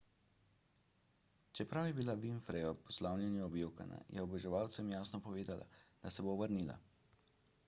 čeprav je bila winfrey ob poslavljanju objokana je oboževalcem jasno povedala da se bo vrnila